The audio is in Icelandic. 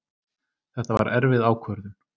Þetta var erfið ákvörðun